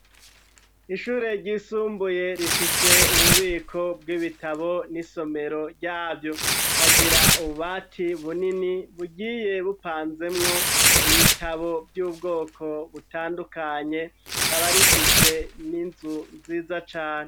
Ishure ryisumbuye rifise ububiko bw'ibitabo n'isomero ryavyo ikagira ubati bunini bugiye bupanzemwo ibitabo vy'ubwoko butandukanye rikaba rifise n'inzu nziza cane.